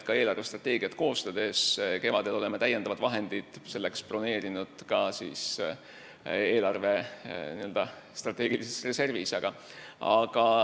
Kevadel eelarvestrateegiat koostades broneerisime selleks ka täiendavad vahendid eelarve n-ö strateegilises reservis.